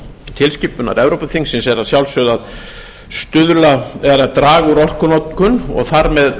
tilskipunar evrópuþingsins er að sjálfsögðu að draga úr orkunotkun og þar með